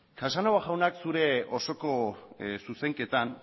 casanova jauna zure osoko zuzenketan